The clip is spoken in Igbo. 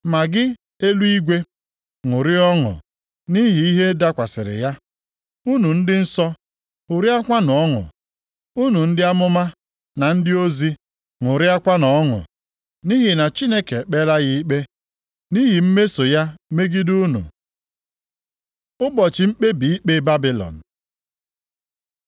“Ma gị eluigwe, ṅụrịa ọṅụ nʼihi ihe a dakwasịrị ya, unu ndị nsọ, ṅụrịakwanụ ọnụ, unu ndị amụma na ndị ozi, ṅụrịakwanụ ọnụ. Nʼihi na Chineke ekpeela ya ikpe nʼihi mmeso ya megide unu.” Ụbọchị mkpebi ikpe Babilọn